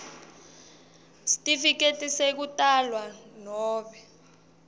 sitifiketi sekutalwa nobe